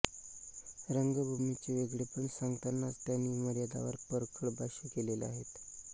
रंगभूमीचे वेगळेपण सांगतानाच त्यांनी मर्यादांवर परखड भाष्य केलेले आहे